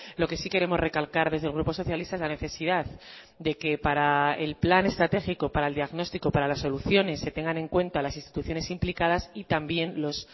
lo que sí queremos recalcar desde el grupo socialista es la necesidad de que para el plan estratégico para el diagnóstico para las soluciones se tengan en cuenta las instituciones implicadas y también los